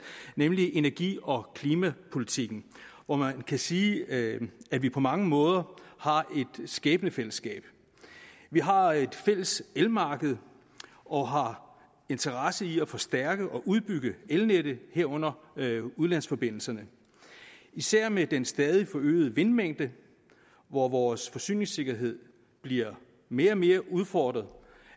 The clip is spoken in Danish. nemlig energi og klimapolitikken hvor man kan sige at at vi på mange måder har et skæbnefællesskab vi har et fælles elmarked og har interesse i at forstærke og udbygge elnettet herunder udlandsforbindelserne især med den stadig forøgede vindmængde hvor vores forsyningssikkerhed bliver mere og mere udfordret